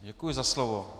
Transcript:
Děkuji za slovo.